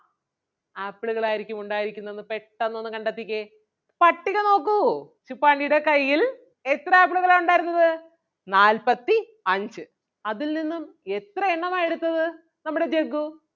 ആപ്പിളുകൾ ആരിക്കും ഉണ്ടായിരിക്കുന്നതെന്ന് പെട്ടന്ന് ഒന്ന് കണ്ടെത്തിക്കേ. പട്ടിക നോക്കൂ ശുപ്പാണ്ടിടെ കയ്യിൽ എത്ര ആപ്പിളുകളാ ഉണ്ടായിരുന്നത് നാല്പത്തിഅഞ്ച് അതിൽനിന്നും എത്ര എണ്ണമാ എടുത്തത് നമ്മുടെ ജഗ്ഗു